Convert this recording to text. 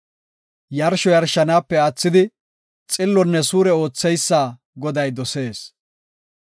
Yarsho yarshanaape aathidi, xillonne suure ootheysa Goday dosees.